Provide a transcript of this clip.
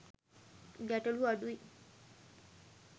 ගැටලු අඩුයි.